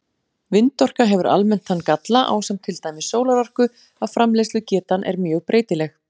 Vindorka hefur almennt þann galla, ásamt til dæmis sólarorku, að framleiðslugetan er mjög breytileg.